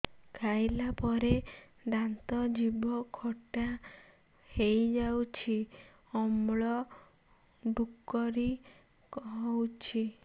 ଖାଇଲା ପରେ ଦାନ୍ତ ଜିଭ ଖଟା ହେଇଯାଉଛି ଅମ୍ଳ ଡ଼ୁକରି ହଉଛି